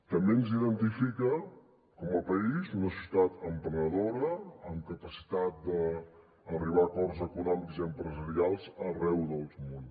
també ens identifica com a país una ciutat emprenedora amb capacitat d’arribar a acords econòmics i empresarials arreu del món